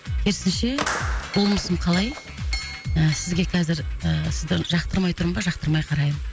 керісінше болмысым қалай ы сізге қазір ы сізді жақтырмай тұрмын ба жақтырмай қараймын